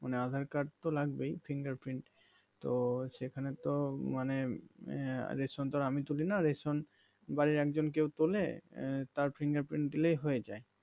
মানে আধার কার্ড তো লাগবেই fingerprint তো সেখানে তো মানে আহ রেশন তো আর আমি তুলিনা রেশন বাড়ির একজন কেউ তোলে এর তার fingerprint দিলেই হয়ে যায়